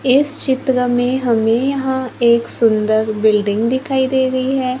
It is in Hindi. इस चित्र में हमें यहां एक सुंदर बिल्डिंग दिखाई दे रही है।